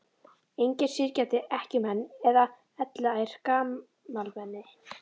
Engir syrgjandi ekkjumenn eða elliær gamalmenni.